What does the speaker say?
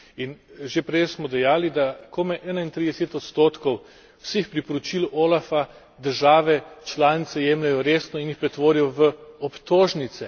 In že prej smo dejali, da komaj 31 odstotkov vseh priporočil OLAFA države članice jemljejo resno in jih pretvorijo v obtožnice.